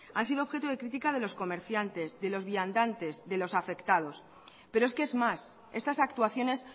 han sido objeto de crítica de los comerciantes de los viandantes de los afectados pero es que es más estas actuaciones